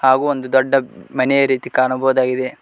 ಹಾಗು ಒಂದು ದೊಡ್ಡ ಮನೆಯ ರೀತಿ ಕಾಣಬೋದಾಗಿದೆ.